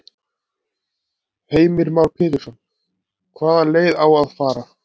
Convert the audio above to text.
Heimir Már Pétursson: Hvaða leið á að fara?